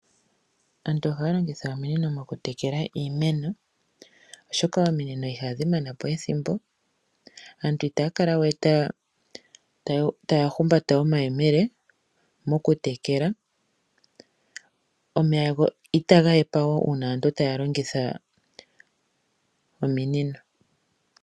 Aantu ohaya longitha ominino okutekela iimeno, oshoka ominino ihadhi mana po ethimbo. Aantu itaya kala we taya humbata omayemele okutekela nomeya itaga hepa wo uuna aantu taya longitha nominino.